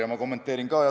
Aga ma kommenteerin ka.